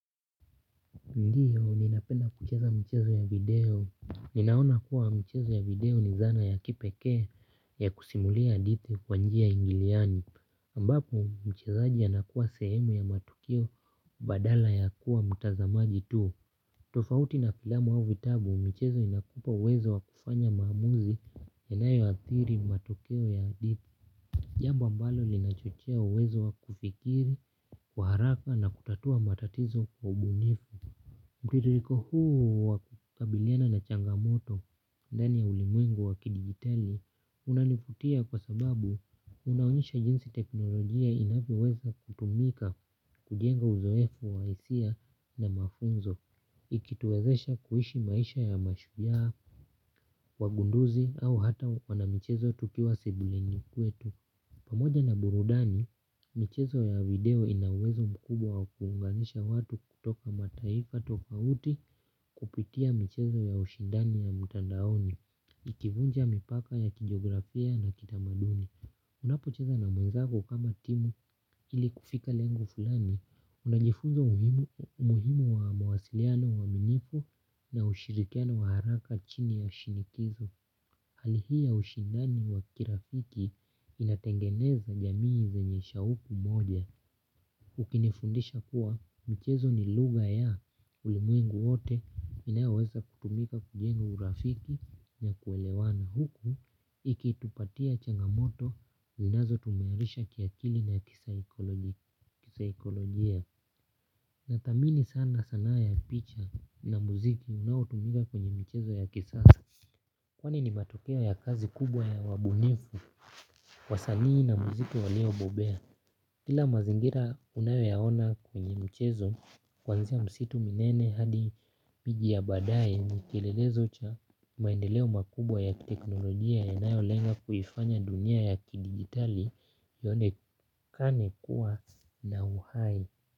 Ndiyo mimi napenda kucheza mchezo ya video. Ninaona kuwa mchezo ya video ni dhana ya kipekee ya kusimulia hadithi kwa njia ingiliani ambapo mchezaji anakuwa sehemu ya matukio badala ya kuwa mtazamaji tu. Tofauti na filamu au vitabu michezo inakupa uwezo wa kufanya maamuzi yanayoathiri matokeo ya hadithi. Jambo ambalo linachochea uwezo wa kufikiri, kwa haraka na kutatua matatizo kwa ubunifu mtiririko huu wa kukabiliana na changamoto, ndani ya ulimwengu wa kidigitali, unanivutia kwa sababu unaonyesha jinsi tekinolojia inavyoweza kutumika, kujenga uzoefu wa hisia na mafunzo, ikituwezesha kuishi maisha ya mashujaa, wagunduzi au hata wana michezo tukiwa sebuleni kwetu. Pamoja na burudani, michezo ya video ina uwezo mkubwa wa kuunganisha watu kutoka mataifa tofauti kupitia michezo ya ushindani ya mtandaoni, ikivunja mipaka ya kijografia na kitamaduni. Unapocheza na mwezako kama timu ili kufika lengo fulani, unajifunza umuhimu wa mwasiliano na uaminifu na ushirikiano wa haraka chini ya shinikizo. Hali hii ya ushindani wa kirafiki inatengeneza jamii zenye shahuku moja. Ukinifundisha kuwa mchezo ni lugha ya ulimwengu wote inayoweza kutumika kujenga urafiki na kuelewana huku ikitupatia changamoto zinazo tuimarisha kiakili na kisaikolojia. Natamani sana sanaa ya picha na muziki unaotumika kwenye michezo ya kisasa. Kwani ni matokeo ya kazi kubwa ya wabunifu, wasanii na muziki walio bobea. Kila mazingira unayoyaona kwenye mchezo kuanzia misitu minene hadi miji ya badae ni kielelezo cha maendeleo makubwa ya teknolojia yanayolenga kuifanya dunia ya kidigitali ionekane kuwa na uhai.